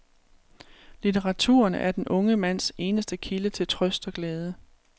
Litteraturen er den unge mands eneste kilde til trøst og glæde.